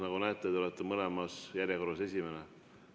Nagu näete, olete mõlemas järjekorras esimene.